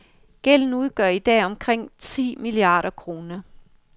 Gælden udgør i dag omkring ti milliarder kroner.